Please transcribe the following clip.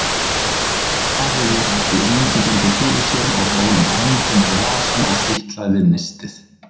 Daði virti Ingibjörgu fyrir sér og fór með höndina í vasann og fitlaði við nistið.